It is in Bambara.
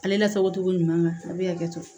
Ale lasago cogo ɲuman na a bɛ hakɛto